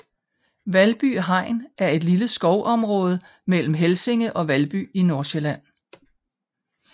Valby Hegn er et lille skovområde mellem Helsinge og Valby i Nordsjælland